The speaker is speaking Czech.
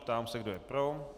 Ptám se, kdo je pro.